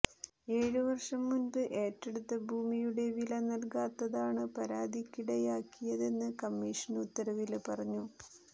ഏഴ് വര്ഷം മുമ്പ് ഏറ്റെടുത്ത ഭൂമിയുടെ വില നല്കാത്തതാണ് പരാതിക്കിടയാക്കിയതെന്ന് കമ്മിഷന് ഉത്തരവില് പറഞ്ഞു